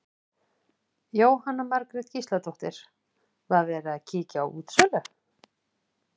Jóhanna Margrét Gísladóttir: Var verið að kíkja á útsölu?